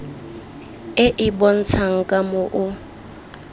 e e bontshang ka moo